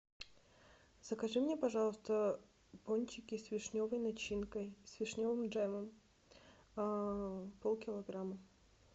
закажи мне пожалуйста пончики с вишневой начинкой с вишневым джемом полкилограмма